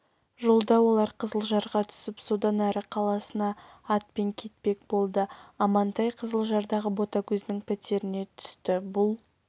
жолда олар қызылжарға түсіп содан әрі қаласына атпен кетпек болды амантай қызылжардағы ботагөздің пәтеріне түсті бұл